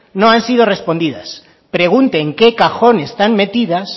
no han sido respondidas pregunte en qué cajón están metidas